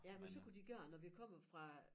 Ja men så kunne de gøre når vi kommer fra